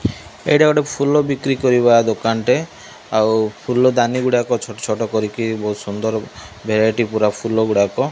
ଏଇଟା ଗୋଟେ ଫୁଲ ବିକ୍ରି କରିବା ଦୋକାନ ଟେ ଆଉ ଫୁଲଦାନି ଗୁଡାକ ଛୋଟ ଛୋଟ କରିକି ବହୁତ୍ ସୁନ୍ଦର ଭେରାଇଟି ଫୁଲ ଗୁଡାକ।